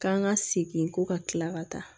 K'an ka segin ko ka kila ka taa